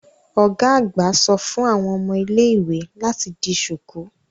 Ọ́ga àgbà só fun àwọn ómo ile-iwe lati di ṣuku